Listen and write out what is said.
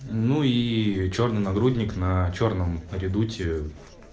ну и чёрный нагрудник на чёрном редуте